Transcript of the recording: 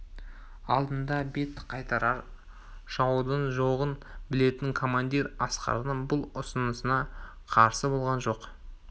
алдында бет қайтарар жаудың жоғын білетін командир асқардың бұл ұсынысына қарсы болған жоқ